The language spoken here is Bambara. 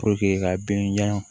ka bin jan